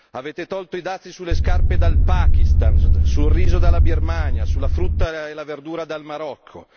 Avete tolto i dazi sulle scarpe dal Pakistan, sul riso dalla Birmania, sulla frutta e la verdura dal Marocco!